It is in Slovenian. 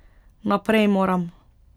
Naprej moram.